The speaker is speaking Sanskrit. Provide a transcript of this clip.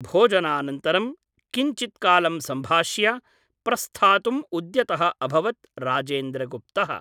भोजनानन्तरं किञ्चित्कालं सम्भाष्य प्रस्थातुम् उद्यतः अभवत् राजेन्द्रगुप्तः ।